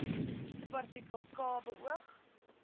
subartikel k beoog